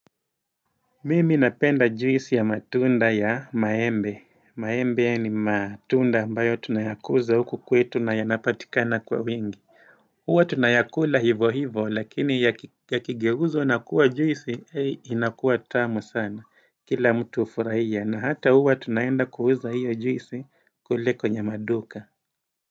Mimi napenda juisi ya matunda ya maembe, maembe ni matunda ambayo tunayakuza huku kwetu na yanapatikana kwa wingi huwa tunayakula hivo hivo lakini yakigeuzwa na kuwa juisi he inakuwa tamu sana kila mtu ufuraia na hata huwa tunaenda kuuza hiyo juisi kule kwenye maduka.